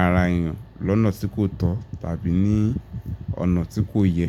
ara èèyàn lọ́nà tí kò tọ̀ tàbí ní ọ̀nà tí kò yẹ.